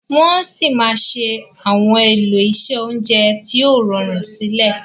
Wọ sí má Àwọn elo iṣé oúnjẹ tíó rọrun sílè.